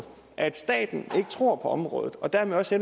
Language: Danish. at staten ikke tror på området og dermed også